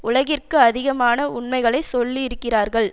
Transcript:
உலகிற்கு அதிகமான உண்மைகளை சொல்லியிருக்கிறார்கள்